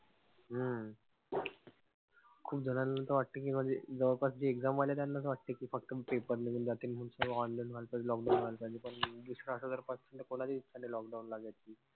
हम्म खूप जणांना त वाटते कि म्हणजे जवळपास जे exam वाले त्यांना त वाटते कि फक्त paper निघून जातील. Online वाले lockdown वाले कोणाचो इच्छा नाई lockdown लागायची.